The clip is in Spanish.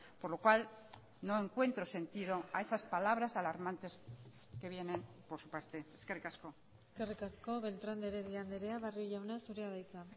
por lo cual no encuentro sentido a esas palabras alarmantes que vienen por su parte eskerrik asko eskerrik asko beltrán de heredia andrea barrio jauna zurea da hitza